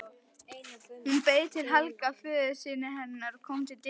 Hún beið þar til Helga, föðursystir hennar, kom til dyra.